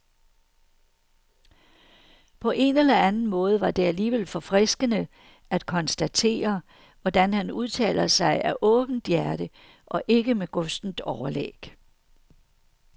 På en eller anden måde var det alligevel forfriskende at konstatere, hvordan han udtaler sig af åbent hjerte og ikke med gustent overlæg.